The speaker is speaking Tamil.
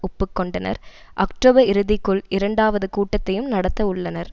ஒப்பு கொண்டனர் அக்டோபர் இறுதிக்குள் இரண்டாவது கூட்டத்தையும் நடத்த உள்ளனர்